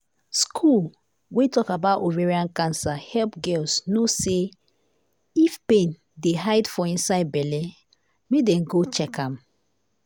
school wey talk about ovarian cancer help girls know say if pain dey hide for inside belle make dem go check am.